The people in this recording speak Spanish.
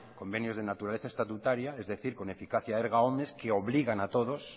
convenios de naturaleza estatutaria es decir con eficacia erga omnes que obligan a todos